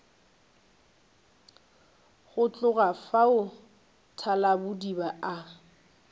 go tloga fao thalabodiba a